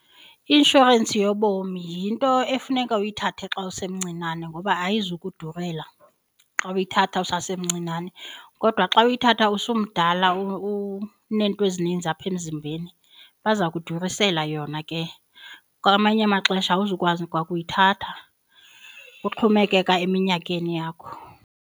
I-inshorensi yobomi yinto efuneka uyithathe xa usemncinane ngoba ayizukudurela xa uyithatha usasemncinane. Kodwa xa uyithatha usumdala uneento ezininzi apha emzimbeni baza kudurisela yona ke, kwamanye amaxesha awuzukwazi kwa kuyithatha kuxhomekeka eminyakeni yakho.